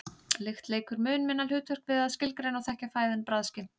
lykt leikur mun minna hlutverk við að skilgreina og þekkja fæðu en bragðskyn